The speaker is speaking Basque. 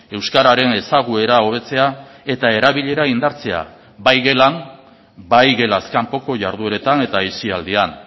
euskararen ezaguera hobetzea eta erabilera indartzea bai gelan bai gelaz kanpoko jardueretan eta aisialdian